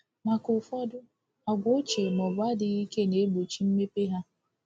Maka ụfọdụ, àgwà ochie ma ọ bụ adịghị ike na-egbochi mmepe ha.